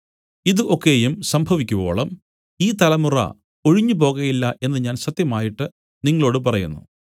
ഇതു ഒക്കെയും സംഭവിക്കുവോളം ഈ തലമുറ ഒഴിഞ്ഞുപോകയില്ല എന്നു ഞാൻ സത്യമായിട്ട് നിങ്ങളോടു പറയുന്നു